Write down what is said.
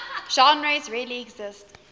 genres really exist